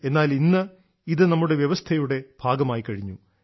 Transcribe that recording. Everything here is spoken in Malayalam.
എന്നാൽ ഇന്ന് ഇത് നമ്മുടെ വ്യവസ്ഥയുടെ ഭാഗമായിക്കഴിഞ്ഞു